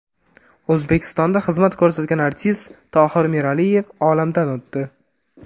O‘zbekistonda xizmat ko‘rsatgan artist Tohir Miraliyev olamdan o‘tdi.